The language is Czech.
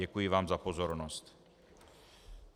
Děkuji vám za pozornost.